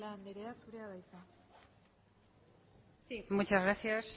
celaá andrea zurea da hitza sí muchas gracias